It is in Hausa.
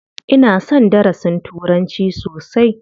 Ina son darasin turanci sosai.